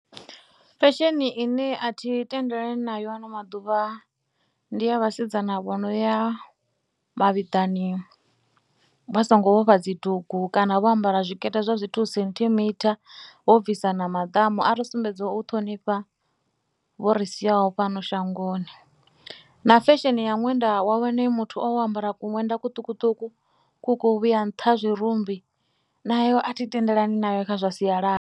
Fesheni ine a thi tendelani nayo ano maḓuvha ndi ya vhasidzana vho no ya mavhiḓani vha songo vhofha dzidugu kana vho ambara zwiikete zwa dzi thuu senthimitha vho bvisa na maḓamu. A ri sumbedziwa u ṱhonifha vho ri siyaho fhano shangoni na fesheni ya ṅwenda, vha wane muthu o ambara ṅwenda kuṱukuṱuku ku khou vhuya nṱha ha zwirumbi nayo a thi tendelani nayo kha zwa sialala.